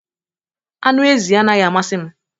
Anụ ezi anaghị amasị m